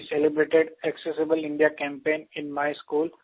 सिर we celebrated accessible India campaign in my school